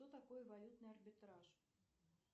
что такое валютный арбитраж